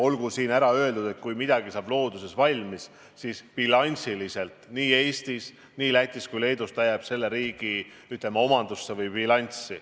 Olgu siin ära öeldud, et kui midagi saab looduses valmis, siis bilansiliselt jääb see nii Eestis, Lätis kui ka Leedus selle riigi, ütleme, omandusse või bilanssi.